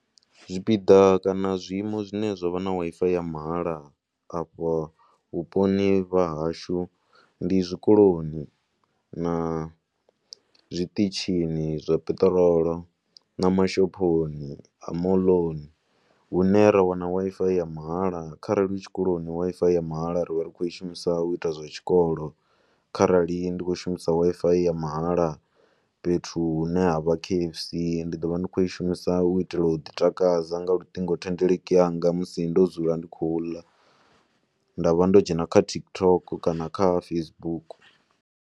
Zwipiḓa kana zwiiimo zwine zwa vha Wi-Fi ya mahala afha vhuponi vha hashu ndi zwikoloni na zwiṱitshini zwa peṱirolo na mashophoni a moḽoni hune ra wana Wi-Fi ya mahala. Kharali u tshikoloni Wi-Fi ya mahala ri vha ri khou u shumisa u ita zwa tshikolo, kharali ndi khou i shumisa Wi-Fi ya mahala fhethu hune ha vha K_F_C ndi ḓo vha ndi tshi khou i shumisa u itela u ḓi takadza nga luṱingothendeleki yanga musi ndo dzula ndi tshi khou ḽa nda vha ndo dzhena kha TikTok kana Facebook.